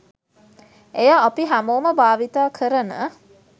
එය අපි හැමෝම භාවිත කරන